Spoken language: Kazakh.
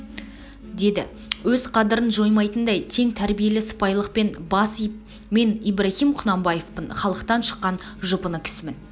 деді өз қадірін жоймайтындай тең тәрбиелі сыпайылықпен бас иіп мен ибрагим құнанбаевпын халықтан шыққан жұпыны кісімін